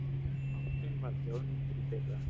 Bankinn var þjóðnýttur í fyrra